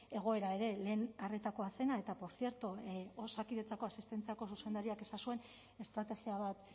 egoera ere lehen arretakoa zena eta portzierto osakidetzako asistentziako zuzendariak esan zuen estrategia bat